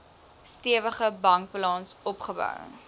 stewige bankbalans opgebou